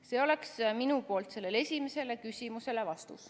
See oleks minu vastus esimesele küsimusele.